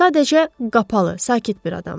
Sadəcə qapalı, sakit bir adamdır.